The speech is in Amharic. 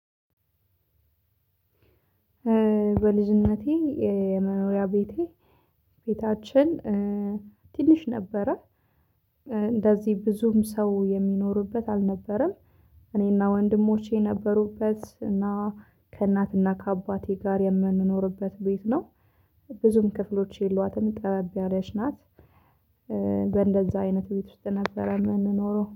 በልጅነቴ የመኖሪያ ቤቴ ቤታችን ትንሽ ነበረ እንደዚህ ብዙም ሰው የሚኖሪበት አልነበረም። እኔና ወንድሞቼ ነበሩበት እና ከእናትና ከአባቴ ጋር የምንኖርበት ቤት ነው። ብዙም ክፍሎች የሏትም ጠበብ ያለች ናት። በእንደዛ አይነት ቤት ውስጥ ነበረ የምንኖረው